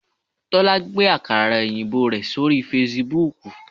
Tólá gbé àkàrà òyìnbó rẹ̀ sórí Fasibúùkù